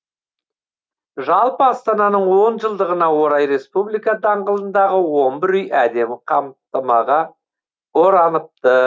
жалпы астананың он жылдығына орай республика даңғылындағы он бір үй әдемі қамтамаға ораныпты